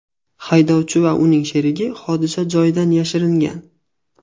Haydovchi va uning sherigi hodisa joyidan yashiringan.